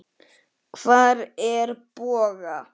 Hvar er Bogga?